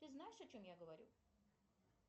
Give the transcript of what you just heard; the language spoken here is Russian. ты знаешь о чем я говорю